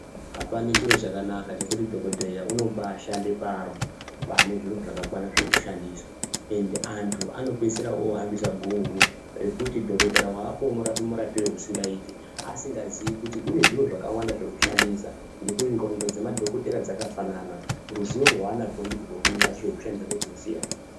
Apana chiro chakanaka chekuti dhokodheya unombashande paro panezviro zvakakwana zvekushandisa ende antu anopedzisira ohambisa guhu rekuti dhokotera weapo unorape murapiro usingaiti asingazivi kuti kunezviro zvakawanda zvekushandisa ngekuti ndxondo dzemadhokodheya dzakafanana rwuzivo rwanarwo ndirwo rwumwe asi zvekushandisa ndozvinosiyana.